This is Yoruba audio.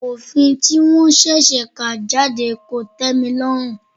Òfin tí wọ́n ṣẹ̀ṣẹ̀ kà jáde kò tẹ́milọ́rùn.